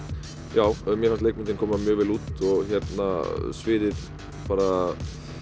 já mér fannst leikmyndin koma mjög vel út og sviðið bara